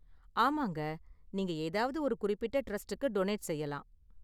ஆமாங்க, நீங்க ஏதாவது ஒரு குறிப்பிட்ட டிரஸ்டுக்கு டொனேட் செய்யலாம்.